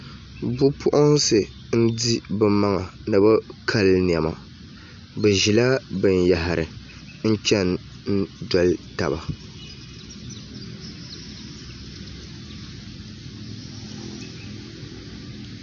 Bipuɣunsi n di bi maŋa ni bi kali niɛma bi ʒila binyahari n chɛni n doli taba